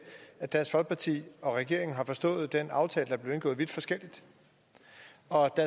at dansk folkeparti og regeringen har forstået den aftale der er blevet indgået vidt forskelligt og